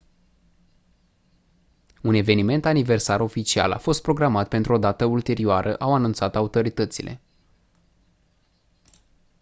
un eveniment aniversar oficial a fost programat pentru o dată ulterioară au anunțat autoritățile